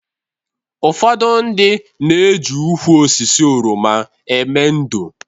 Ụfọdụ ndị na-eji ukwu osisi oroma eme ndò